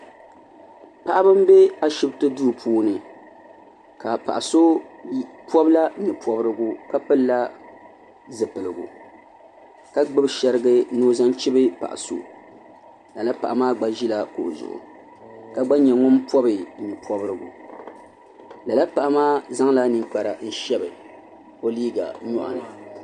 Paɣaba n bɛ ashibiti duu puuni ka paɣa so pɔbi la nyɛ pɔbirigu ka pili la zipiligu ka gbubi shariga ni o zaŋ chibi paɣa so lala paɣa maa gba ʒila kuɣu zuɣu ka gba nyɛ ŋun pɔbi nyɛ pɔbirigu lala paɣa maa zaŋ la ninkpara n shabi o liiga nyɔɣu ni.